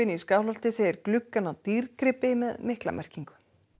í Skálholti segir gluggana dýrgripi með mikla merkingu